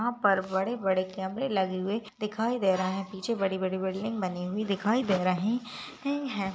यह पर बड़े बड़े कमेरे लगे हुए दिखाई दे रहे है पीछे बड़ी बड़ी बिल्डिंग बनी हुई दिखाई दे रही है।